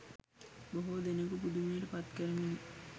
බොහෝ දෙනකු පුදුමයට පත්කරමිනි.